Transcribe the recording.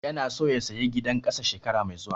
Yana so ya saya gidan ƙasa shekara mai zuwa